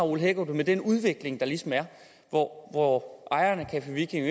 ole hækkerup det med den udvikling der ligesom er hvor hvor ejeren af café viking